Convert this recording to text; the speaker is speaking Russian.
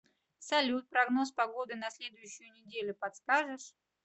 салют прогноз погоды на следующую неделю подскажешь